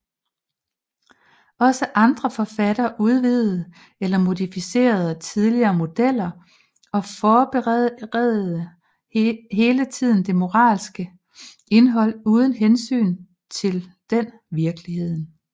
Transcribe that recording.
Også andre forfattere udvidede eller modificerede tidligere modeller og forbedrede hele tiden det moralske indhold uden hensyn til den virkeligheden